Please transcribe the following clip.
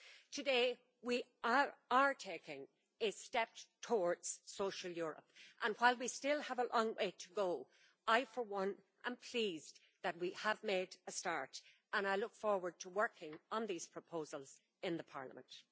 Today, we are taking a step towards Social Europe and while we still have a long way to go, I for one am pleased that we have made a start and I look forward to working on these proposals in Parliament.